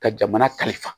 Ka jamana kalifa